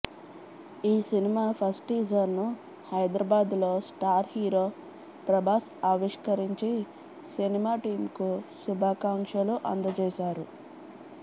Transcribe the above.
ఈ cinema first టీజర్ను హైదరాబాద్లో స్టార్ హీరో ప్రభాస్ ఆవిష్కరించి సినిమా టీమ్కు శుభాకాంక్షలు అందజేశారు